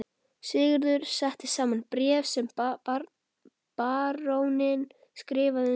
Sigurður setti saman bréf sem baróninn skrifaði undir.